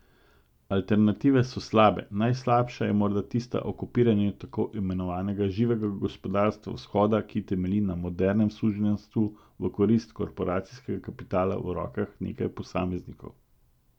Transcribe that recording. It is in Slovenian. Alternative so slabe, najslabša je morda tista o kopiranju tako imenovanega živega gospodarstva vzhoda, ki temelji na modernem suženjstvu v korist korporacijskega kapitala v rokah nekaj posameznikov.